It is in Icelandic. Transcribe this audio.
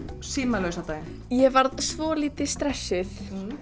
símalausa daginn ég varð svolítið stressuð